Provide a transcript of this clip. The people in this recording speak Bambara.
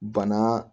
Bana